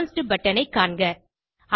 advanced button ஐ காண்க